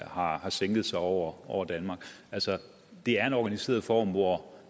har sænket sig over danmark altså det er en organiseret form hvor